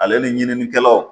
Ale ni ɲininikɛlaw